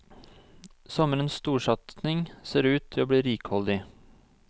Sommerens storsatsing ser ut til å bli rikholdig.